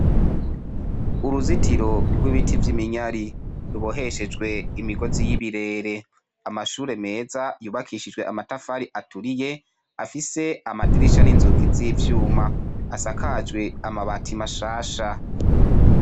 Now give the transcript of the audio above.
Uruzitiro rw'ibiti rw'iminyari ruboheshejwe imigozi y'ibirere ,amashure meza yubakishijwe amatafari aturiye afise amadirisha n'inzugi z'ivyuma ,asakajwe amabati mashasha.